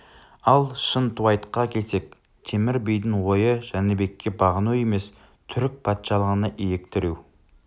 ал шынтуайтқа келсек темір бидің ойы жәнібекке бағыну емес түрік патшалығына иек тіреу